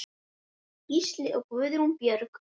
Gísli og Guðrún Björg.